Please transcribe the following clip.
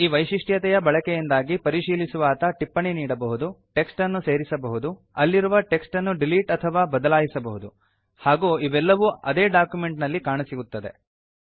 ಈ ವೈಶಿಷ್ಟ್ಯತೆಯ ಬಳಕೆಯಿಂದಾಗಿ ಪರಿಶೀಲಿಸುವಾತ ಟಿಪ್ಪಣಿ ನೀಡಬಹುದು ಟೆಕ್ಸ್ಟ್ ಅನ್ನು ಸೇರಿಸಬಹುದು ಅಲ್ಲಿರುವ ಟೆಕ್ಸ್ಟ್ ಅನ್ನು ಡಿಲೀಟ್ ಅಥವಾ ಬದಲಾಯಿಸಬಹುದು ಹಾಗೂ ಇವೆಲ್ಲವೂ ಆದೇ ಡಾಕ್ಯುಮೆಂಟ್ ನಲ್ಲಿ ಕಾಣಸಿಗುತ್ತವೆ